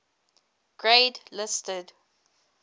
grade listed